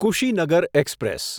Kushinagar express